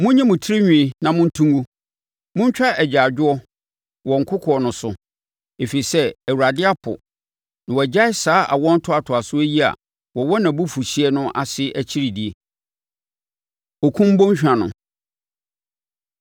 Monyi mo tirinwi na monto ngu, montwa agyaadwoɔ wɔ nkokoɔ no so, ɛfiri sɛ Awurade apo, na wagyae saa awoɔ ntoatoasoɔ yi a wɔwɔ na abufuhyeɛ no ase akyi di. Okum Bɔnhwa No